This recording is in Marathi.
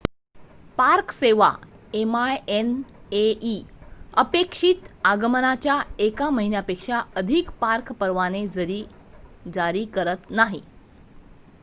पार्क सेवा minae अपेक्षित आगमनाच्या एका महिन्यापेक्षा अधिक पार्क परवाने जरी करत नाही